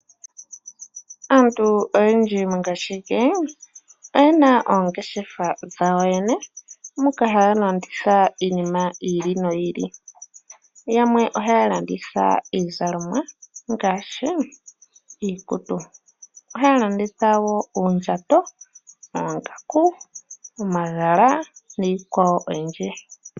Aantu oyendji mongaashingeyi oye na oongeshefa dhawo yene moka haya landitha iinima yi ili noyi ili. Yamwe ohaya landitha iizalomwa ngaashi iikutu. Ohaya landitha wo uundjato, oongaku, omagala niikwawo oyindji.